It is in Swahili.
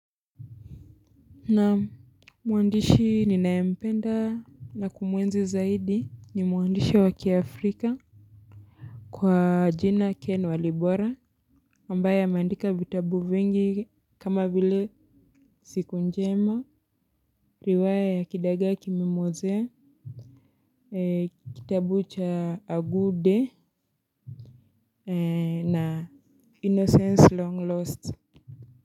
Naam, mwandishi ninayempenda na kumwenzi zaidi ni mwandishi wa kiafrika kwa jina Ken Walibora ambaye ameandika vitabu vingi kama vile Siku Njema, riwaya ya Kidagaa Kimemwozea, kitabu cha A Good Day na Innocence Long Lost.